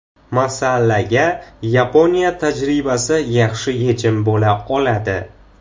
Masalaga Yaponiya tajribasi yaxshi yechim bo‘la oladi.